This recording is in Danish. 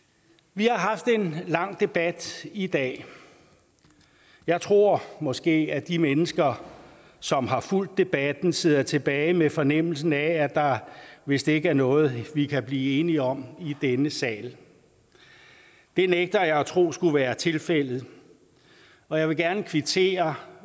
vi haft en lang debat i dag jeg tror måske at de mennesker som har fulgt debatten sidder tilbage med fornemmelsen af at der vist ikke er noget vi kan blive enige om i denne sal det nægter jeg at tro skulle være tilfældet og jeg vil gerne kvittere